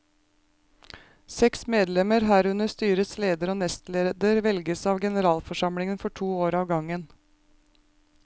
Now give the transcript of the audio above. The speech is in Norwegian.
Seks medlemmer, herunder styrets leder og nestleder velges av generalforsamlingen for to år av gangen.